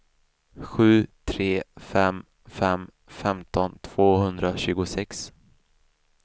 sju tre fem fem femton tvåhundratjugosex